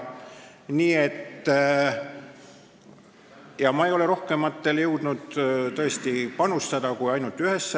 Ma ei ole tõesti rohkematesse jõudnud panustada kui ainult ühesse.